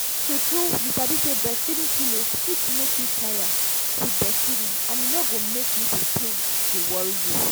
tru tru you sabi say breastfeeding pillows fit make you no tire with breastfeeding and e no go make nipple pain dey worry you